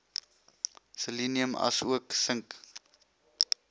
selenium asook sink